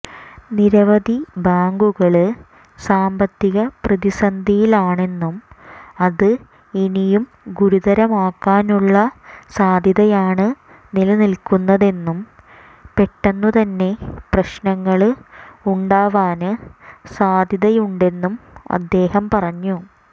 നിരവധി ബാങ്കുകള് സാമ്പത്തിക പ്രതിസന്ധിയിലാണെന്നും അത് ഇനിയും ഗുരുതരമാകാനുള്ള സാധ്യതയാണ് നിലനില്ക്കുന്നതെന്നും പെട്ടെന്നുതന്നെ പ്രശ്നങ്ങള് ഉണ്ടാവാന് സാധ്യതയുണ്ടെന്നും അദ്ദേഹം പറഞ്ഞു